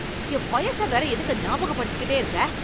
என் வயச வேற எதுக்கு ஞாபகப்படுத்திக்கிட்டே இருக்க?